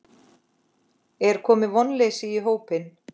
Er komið vonleysi í hópinn?